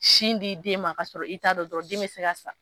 Sin di den ma kasɔrɔ i t'a dɔn dɔrɔn den se ka sa